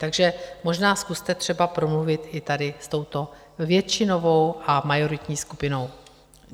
Takže možná zkuste třeba promluvit i tady s touto většinovou a majoritní skupinou.